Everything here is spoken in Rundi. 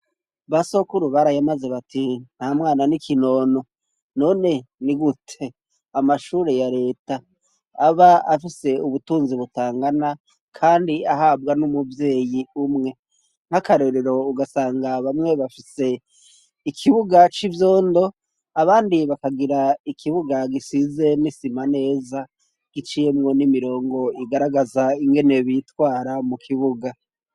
Ba Sokuru barayamaze bati: "Nta mwana n'ikinono", none ni gute amashure ya leta aba afise ubutunzi butangana kandi ahabwa n'umuvyeyi umwe nk'akarerero ugasanga bamwe bafise ikibuga c'ivyondo abandi bakagira ikibuga gisize n'isima neza giciyemwo n'imirongo igaragaza ingene bitwara mu kibuga.